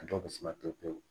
A dɔw bɛ suma pewu pewu